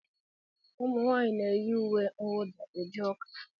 Ụmụ nwanyị na-eyi ùwé kwudà eje ụka.